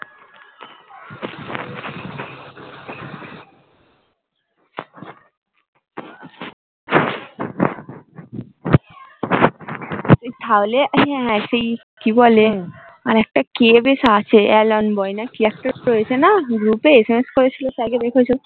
কি বলে আরেকটা কে বেশ আছে alone boy না কি একটা রয়েছে না group sms করেছিল sir কে দখেছো?